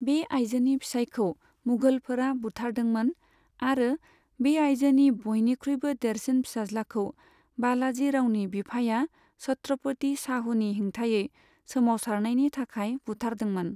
बे आइजोनि फिसाइखौ मुघलफोरा बुथारदोंमोन, आरो बे आइजोनि बयनिख्रुइबो देरसिन फिसाज्लाखौ बालाजि रावनि बिफाया छत्रपति शाहुनि हेंथायै सोमावसारनायनि थाखाय बुथारदोंमोन।